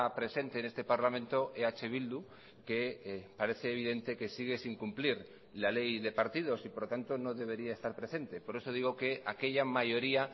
presente en este parlamento eh bildu que parece evidente que sigue sin cumplir la ley de partidos y por lo tanto no debería estar presente por eso digo que aquella mayoría